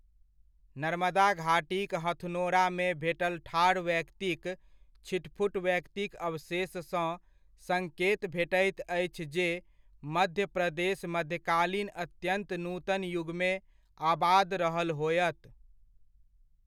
नर्मदा घाटीक हथनोरामे भेटल ठाढ़ व्यक्तिक छिटपुट व्यक्तिक अवशेषसँ सङ्केत भेटैत अछि जे मध्य प्रदेश मध्यकालीन अत्यन्त नूतन युगमे आबाद रहल होयत।